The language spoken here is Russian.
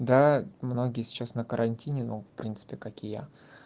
да многие сейчас на карантине ну в принципе как и я